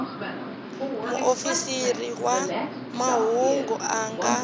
muofisiri wa mahungu a nga